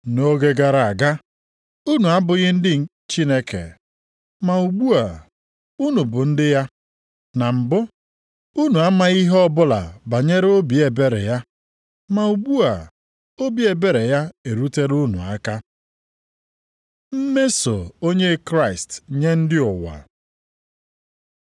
Nʼoge gara aga, unu abụghị ndị Chineke, ma ugbu a, unu bụ ndị ya. Na mbụ, unu amaghị ihe ọbụla banyere obi ebere ya, ma ugbu a, obi ebere ya erutela unu aka. Mmeso onye Kraịst nye ndị ụwa